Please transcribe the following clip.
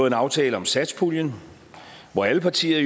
en aftale om satspuljen hvor alle partier